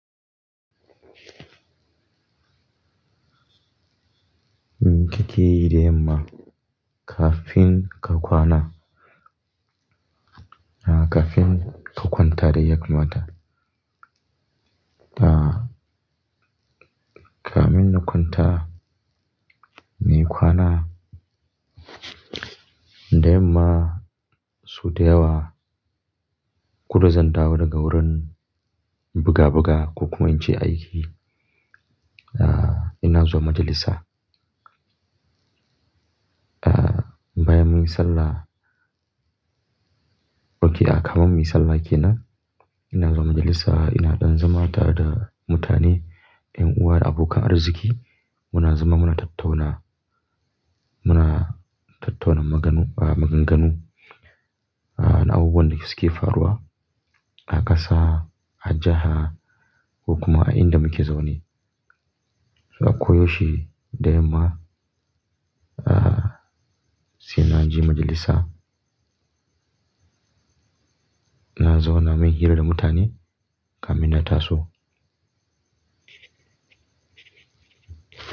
Me kakeyi da yamma kafin ka kwana, ah kafin ka kwanta dai yakamata. Kamun na kwanta, muyi kwana da yamma sau dayawa. Koda zandawo daga wurin buga buga ko kuma in ce aiki. Ah ina zuwa majalisa. Bayan munyi sallah, okay a'a kamun muyi sallah kenan, ina zuwa majalisa. Ina ɗan zama tare da mutane, ƴan uwa da abokan arziki. Muna zama muna tattauna, muna tattauna maganu-- maganganu. Na abubuwan da suke faruwa a ƙasa, a jiha ko kuma a inda muke zaune. A ko yaushe da yamma sai na je majalisa. Na zauna, mun yi hira da mutane kamin na taso.